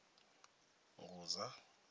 ngudza